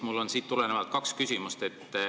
Mul on siit tulenevalt kaks küsimust.